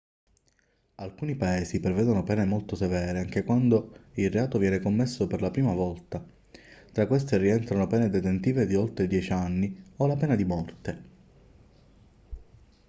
alcuni paesi prevedono pene molto severe anche quando il reato viene commesso per la prima volta tra queste rientrano pene detentive di oltre 10 anni o la pena di morte